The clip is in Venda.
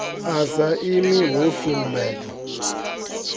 a sa imi ho sumbedzwa